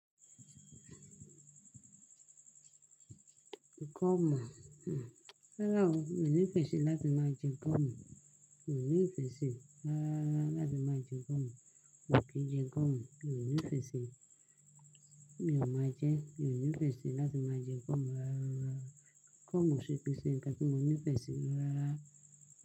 Ìkọ́mọ̀. Rárá o, mi ò ní ìfẹ́ síi láti máa jẹ nkọ́mọ̀. Mi ò ní ìfẹ́ síi rárára láti máa jẹ nkọ́mọ̀. Wàá kí jẹ nkọ́mọ̀. Mi ò ní ìfẹ́ síi. Mi ò máa jẹ. Mi ò ní ìfẹ́ síi láti máa jẹ nkọ́mọ̀ rárára. Nkọ́mọ̀ ṣe pẹ̀sẹ̀ ǹkan tí mo ní ìfẹ́ síi ràrá.